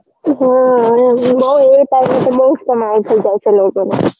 બૌ એ time તો બૌ જ કમાણી થઇ જાય છે લોકોને